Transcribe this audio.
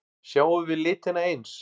Sjáum við litina eins?